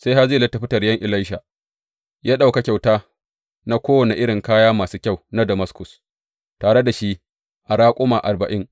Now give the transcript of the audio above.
Sai Hazayel ya tafi taryen Elisha, ya ɗauka kyauta na kowane irin kaya masu kyau na Damaskus tare da shi a raƙuma arba’in.